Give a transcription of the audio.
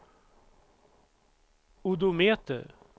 odometer